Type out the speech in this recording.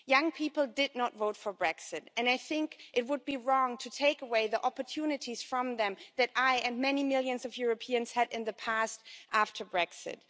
Young people did not vote for Brexit, and I think it would be wrong to take away the opportunities from them that I and many millions of Europeans had in the past after Brexit.